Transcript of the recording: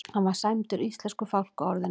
Hann var sæmdur íslensku fálkaorðunni